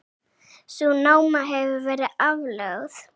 Sú náma hefur verið aflögð.